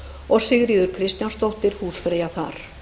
og sigríður kristjánsdóttir húsfreyja þar